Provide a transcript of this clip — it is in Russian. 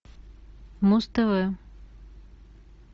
муз тв